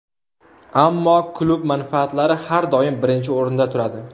Ammo klub manfaatlari har doim birinchi o‘rinda turadi.